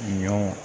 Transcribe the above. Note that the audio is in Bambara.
Ɲɔ